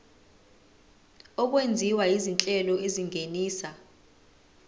okwenziwa izinhlelo ezingenisa